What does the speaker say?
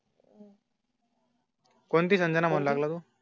कोणती संजना लागला तो.